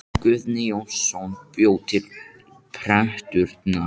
guðni jónsson bjó til prentunar